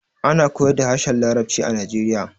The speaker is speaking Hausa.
Ana koyar da harshen larabci a najeriya